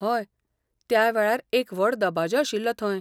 हय, त्या वेळार एक व्हड दबाजो आशिल्लो थंय.